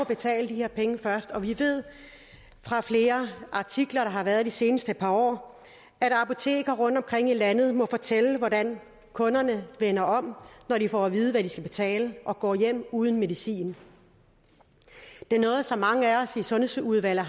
betale de her penge først og vi ved fra flere artikler der har været de seneste par år at apoteker rundtomkring i landet må fortælle hvordan kunderne vender om når de får at vide hvad de skal betale og går hjem uden medicin det er noget som mange af os i sundhedsudvalget